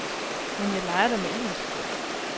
Men jeg leger da med ilden.